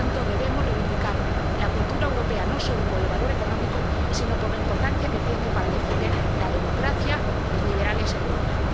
Por lo tanto, debemos reivindicar la cultura europea, no solo por el valor económico, sino por la importancia que tiene para defender las democracias liberales en Europa.